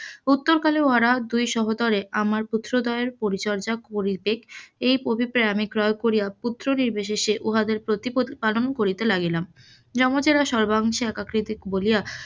উত্তরকালে উহারা দুই সহোদরে আমার পুত্রদ্বয়ের পরিচর্চা করিতে এই অভিপে আমি ক্রয় করিয়া পুত্র নির্বিশেসে উহাদের প্রতিপত্তি পালন করিতে লাগিলাম, যমজেরা সর্বাংশে বলিয়া,